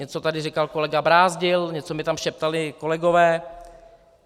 Něco tady říkal kolega Brázdil, něco mi tam šeptali kolegové.